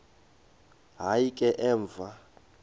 hayi ke emva